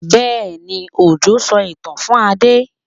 Bẹ́ẹ̀ni, Òjó sọ ìtàn fún Adé?